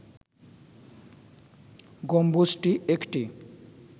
গম্বুজটি একটি